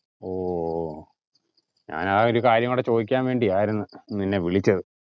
ഓഹ്, ഞാൻ ആ ഒരു കാര്യം കൂടി ചോദിക്കാൻ വേണ്ടിയായിരുന്നു നിന്നെ വിളിച്ചത്